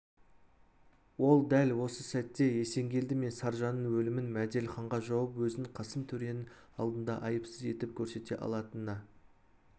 ол дәл осы сәтте есенгелді мен саржанның өлімін мәделіханға жауып өзін қасым төренің алдында айыпсыз етіп көрсете алатынына